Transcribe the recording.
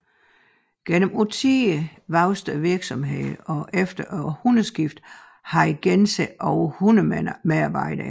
Gennem årtier voksede virksomheden og efter århundredeskiftet havde Gense over 100 medarbejdere